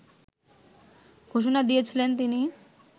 ঘোষণা দিয়েছিলেন তিনি